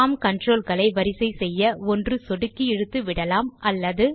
form control களை வரிசை செய்ய ஒன்று சொடுக்கி இழுத்து விடலாம் அல்லது